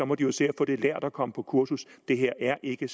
må de jo se at få det lært og komme på kursus det her er ikke